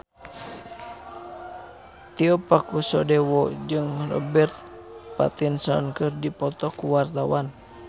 Tio Pakusadewo jeung Robert Pattinson keur dipoto ku wartawan